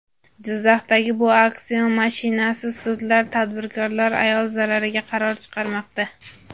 Jizzaxdagi bir auksion mashmashasi: Sudlar tadbirkor ayol zarariga qaror chiqarmoqda.